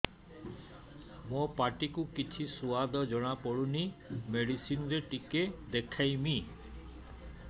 ମୋ ପାଟି କୁ କିଛି ସୁଆଦ ଜଣାପଡ଼ୁନି ମେଡିସିନ ରେ ଟିକେ ଦେଖେଇମି